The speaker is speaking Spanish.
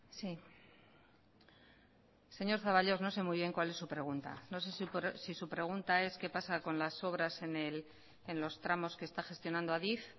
sí señor zaballos no sé muy bien cuál es su pregunta no sé si su pregunta es qué pasa con las obras en los tramos que está gestionando adif